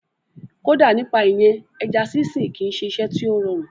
Kódà nípa ìyẹn, ẹja sínsìn kìí ṣe iṣẹ́ tí ó rọrùn